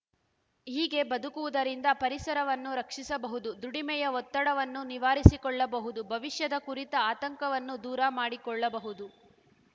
ಹೀಗೆ ಬದುಕುವುದರಿಂದ ಪರಿಸರವನ್ನು ರಕ್ಷಿಸಬಹುದು ದುಡಿಮೆಯ ಒತ್ತಡವನ್ನು ನಿವಾರಿಸಿಕೊಳ್ಳಬಹುದು ಭವಿಷ್ಯದ ಕುರಿತ ಆತಂಕವನ್ನು ದೂರ ಮಾಡಿಕೊಳ್ಳಬಹುದು